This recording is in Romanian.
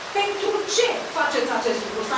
Pentru ce faceți acest lucru?